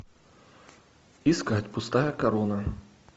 искать пустая корона